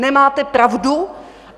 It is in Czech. Nemáte pravdu.